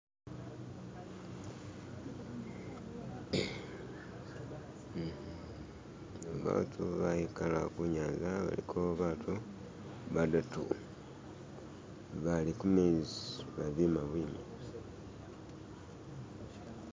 Batu bayikala kunyaza baliko batu badatu bali kumezi babima bwimi